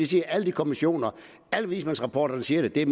siger alle kommissionerne og alle vismandsrapporterne siger det det er